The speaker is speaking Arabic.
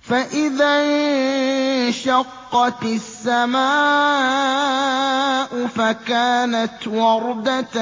فَإِذَا انشَقَّتِ السَّمَاءُ فَكَانَتْ وَرْدَةً